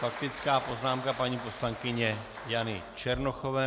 Faktická poznámka paní poslankyně Jany Černochová.